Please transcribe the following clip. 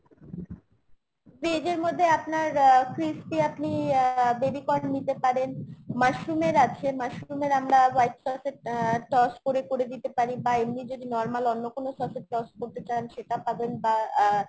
veg এর মধ্যে আপনার আ crispy আপনি আহ baby corn নিতে পারেন, mushroom এর আছে mushroom এর আমরা white sauce এ আ toss করে করে দিতে পারি। বা এমনি যদি normal অন্য কোনো sauce এ toss করতে চান সেটা পাবেন বা আহ